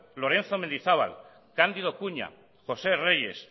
lorenzo mendizábal cándido cuña josé reyes